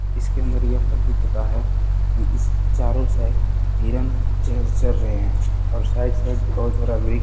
इसके अंदर यह प्रतीत होता है कि इस चारों हिरण चर - चर रहे है और साइड-साइड